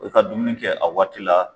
I ka dumuni kɛ a waati la